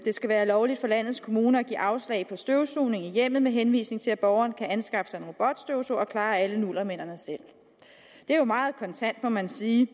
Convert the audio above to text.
skal være lovligt for landets kommuner at give afslag på støvsugning i hjemmet med henvisning til at borgeren kan anskaffe sig en robotstøvsuger og klare alle nullermændene selv det er jo meget kontant må man sige